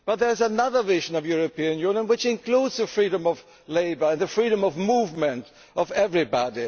goods. But there is another vision of the European Union which includes the freedom of labour and the freedom of movement for everybody.